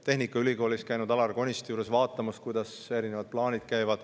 Tehnikaülikoolis olen käinud Alar Konisti juures vaatamas, kuidas erinevad plaanid on.